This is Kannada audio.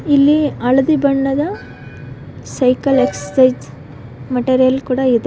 ಇಲ್ಲಿ ಹಳದಿ ಬಣ್ಣದ ಸೈಕಲ್ ಎಕ್ಸರ್ಸೈಜ್ ಮೆಟೀರಿಯಲ್ ಕೂಡ ಇದೆ.